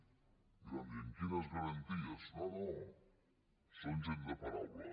i vam dir amb quines garanties no no són gent de paraula